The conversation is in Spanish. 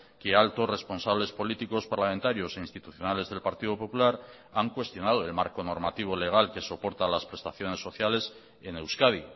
que altos responsables políticos parlamentarios e institucionales del partido popular han cuestionado el marco normativo legal que soporta las prestaciones sociales en euskadi